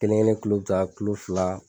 Kelen kelen tulo be ta tulo fila